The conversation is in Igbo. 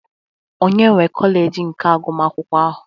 Onye nwe kọleji nke agụmakwụkwọ ahụ?